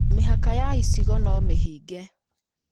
Mĩhaka ya icigo no mĩhinge